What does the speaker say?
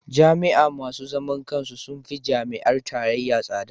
Jami'a masu zaman kansu sun fi jami'ar tarayya tsada.